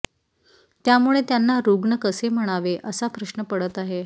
त्यामुळे त्यांना रुग्ण कसे म्हणावे असा प्रश्न पडत आहे